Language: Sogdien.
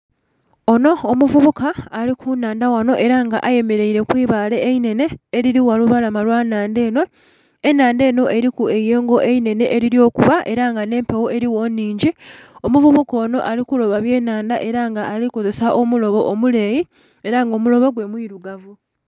Onho omuvubuka ali ku nhandha ghanho ela nga ayemeleira kwibaale einhenhe elili gha lubalama lwa nhandha enho, enhandha enho eriku eiyengo einhenehe elili okuba era nga nh'empegho eligho nhingi omuvubuka onho ali kuloba byanhandha ela nga alikukozesa omulobo omuleeyi ela nga omulobo gwe mwilugavu.